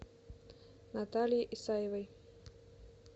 наталье исаевой